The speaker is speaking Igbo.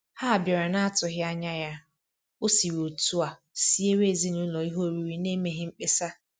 Ha bịara n'atụghị anya ya, ọ siri otu a siere ezinaụlọ ihe oriri n'emeghị mkpesa.